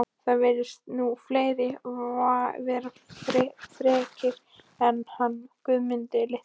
Það virðast nú fleiri vera frekir en hann Guðmundur litli